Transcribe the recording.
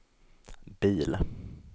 bil